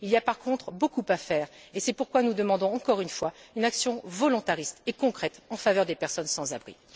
Il y a, par contre, beaucoup à faire et c'est pourquoi nous demandons encore une fois une action volontariste et concrète en faveur des personnes sans abri.